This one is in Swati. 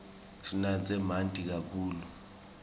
sinatse manti kakhulu